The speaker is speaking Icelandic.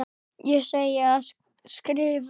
Segi ég og skrifa.